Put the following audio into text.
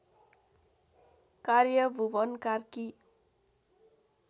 कार्य भुवन कार्की